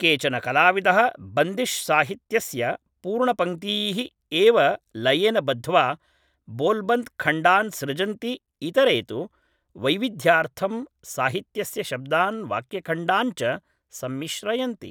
केचन कलाविदः बन्दिश् साहित्यस्य पूर्णपङ्क्तीः एव लयेन बद्ध्वा बोल्बन्त् खण्डान् सृजन्ति इतरे तु वैविध्यार्थं साहित्यस्य शब्दान् वाक्यखण्डान् च संमिश्रयन्ति